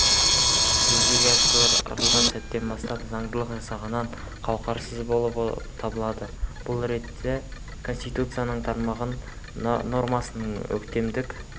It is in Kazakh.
жүзеге асырылған сәттен бастап заңдық жағынан қуақарсыз болып табылады бұл ретте конституцияның тармағы нормасының өктемдік